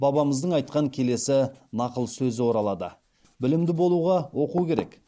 бабамыздың айтқан келесі нақыл сөзі оралады білімді болуға оқу керек